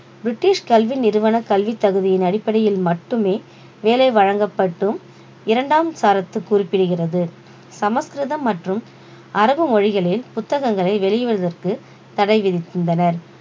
british கல்வி நிறுவன கல்வித் தகுதியின் அடிப்படையில் மட்டுமே வேலை வழங்கப்பட்டும் இரண்டாம் சரத்து குறிப்பிடுகிறது சமஸ்கிருதம் மற்றும் அரபு மொழிகளில் புத்தகங்களை வெளியிடுவதற்கு தடை விதித்திருந்தனர்